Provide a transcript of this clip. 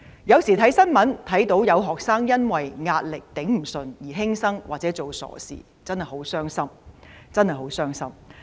新聞不時報道有學生因為無法面對壓力而輕生或做傻事，真的很傷心。